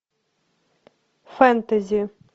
фэнтези